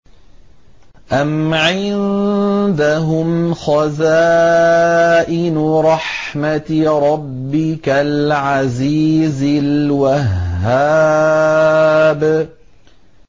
أَمْ عِندَهُمْ خَزَائِنُ رَحْمَةِ رَبِّكَ الْعَزِيزِ الْوَهَّابِ